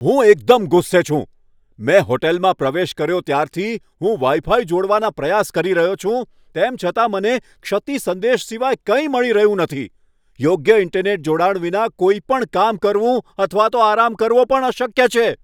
હું એકદમ ગુસ્સે છું! મેં હોટલમાં પ્રવેશ કર્યો ત્યારથી હું વાઈ ફાઈ જોડવાના પ્રયાસ કરી રહ્યો છું, તેમ છતાં મને ક્ષતિ સંદેશ સિવાય કંઈ મળી રહ્યું નથી. યોગ્ય ઈન્ટરનેટ જોડાણ વિના કોઈપણ કામ કરવું અથવા તો આરામ કરવો પણ અશક્ય છે.